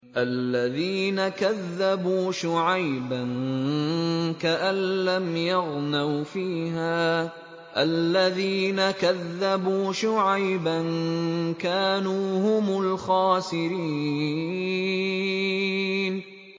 الَّذِينَ كَذَّبُوا شُعَيْبًا كَأَن لَّمْ يَغْنَوْا فِيهَا ۚ الَّذِينَ كَذَّبُوا شُعَيْبًا كَانُوا هُمُ الْخَاسِرِينَ